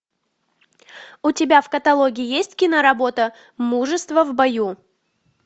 у тебя в каталоге есть киноработа мужество в бою